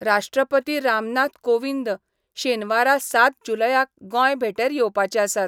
राश्ट्रपती रामनाथ कोविंद शेनवारा सात जुलयाक गोंय भेटेर येवपाचे आसात.